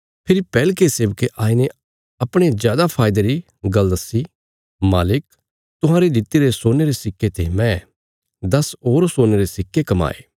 फेरी पैहले सेबके आईने अपणे जादा फायदे री गल्ल दस्सी मालिक तुहांरे दित्तिरे सोने रे सिक्के ते मैं दस होर सोने रे सिक्के कमाये